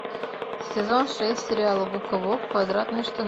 сезон шесть сериала губка боб квадратные штаны